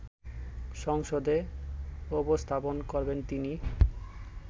সংসদে উপস্থাপন করবেন তিনি